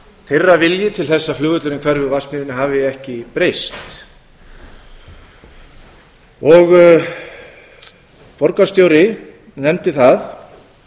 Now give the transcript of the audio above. þeirra vilji til þess að flugvöllurinn hverfi úr vatnsmýrinni hafi ekki breyst borgarstjóri nefndi það í